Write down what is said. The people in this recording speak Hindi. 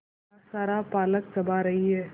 मेरा सारा पालक चबा रही है